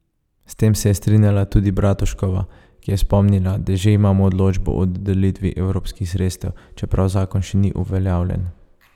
S tem se je strinjala tudi Bratuškova, ki je spomnila, da že imamo odločbo o dodelitvi evropskih sredstev, čeprav zakon še ni uveljavljen.